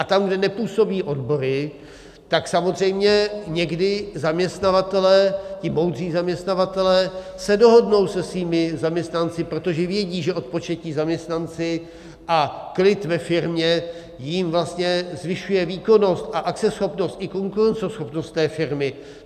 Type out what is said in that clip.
A tam, kde nepůsobí odbory, tak samozřejmě někdy zaměstnavatelé, ti moudří zaměstnavatelé, se dohodnou se svými zaměstnanci, protože vědí, že odpočatí zaměstnanci a klid ve firmě jim vlastně zvyšuje výkonnost a akceschopnost i konkurenceschopnost té firmy.